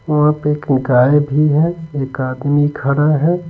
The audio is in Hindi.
वहां पे एक गाय भी है एक आदमी खड़ा है।